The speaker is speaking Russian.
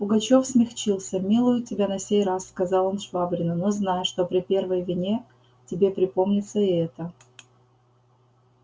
пугачёв смягчился милую тебя на сей раз сказал он швабрину но знай что при первой вине тебе припомнится и эта